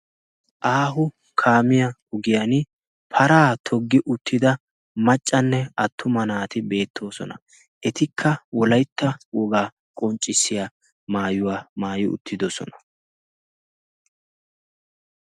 aahu kaamiyaa ugiyan paraa toggi uttida maccanne attuma naati beettoosona etikka wolaitta wogaa qonccissiya maayuwaa maayi uttidosona